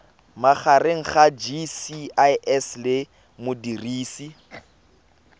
magareng ga gcis le modirisi